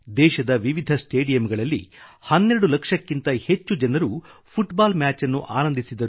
ದೇಶದ ವಿವಿಧ ಸ್ಟೆಡಿಯಂಗಳಲ್ಲಿ 12 ಲಕ್ಷಕ್ಕಿಂತ ಹೆಚ್ಚು ಜನರು ಫುಟ್ಬಾಲ್ ಮ್ಯಾಚ್ ಅನ್ನು ಆನಂದಿಸಿದರು